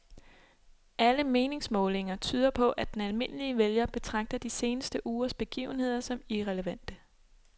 Alle meningsmålinger tyder på, at den almindelige vælger betragter de seneste ugers begivenheder som irrelevante.